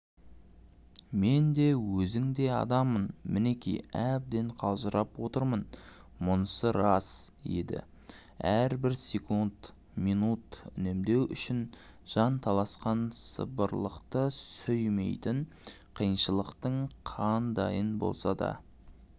мен де өзіңдей адаммын мінеки әбден қалжырап отырмынмұнысы рас еді әрбір секунд минут үнемдеу үшін жан таласқан сылбырлықты сүймейтін қиыншылықтың қандайын болса да